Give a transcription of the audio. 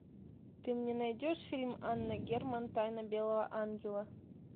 ты мне найдешь фильм анна герман тайна белого ангела